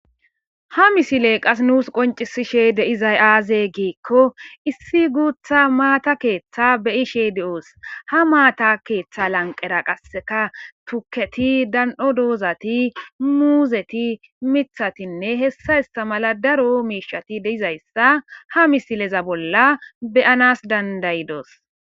Ha misile qas nuus qoncisishe deizay aaze giikko issi guutha maata keeththa beyishe de7oos ha maata keeththa lanqera qasseka tuketi dan7o doozati muuzeti mithatinne hessa ista mala daro miishati deizayssa ha misileza bolla beyanas dandayidos